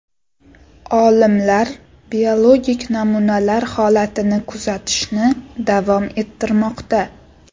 Olimlar biologik namunalar holatini kuzatishni davom ettirmoqda.